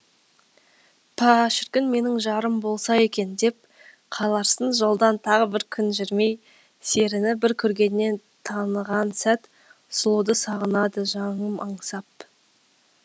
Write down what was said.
па шіркін менің жарым болса екен деп қаларсың жолдан тағы бір күн жүрмей серіні бір көргеннен таныған сәт сұлуды сағынады жаным аңсап